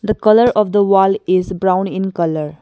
The colour of the wall is brown in colour.